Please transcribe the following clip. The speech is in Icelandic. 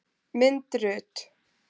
Mynd Rut.